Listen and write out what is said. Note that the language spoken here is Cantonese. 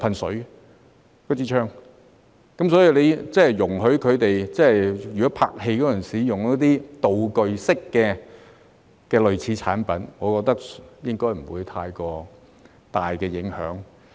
所以，容許拍戲時使用道具式的類似產品，我覺得應該不會有太大影響。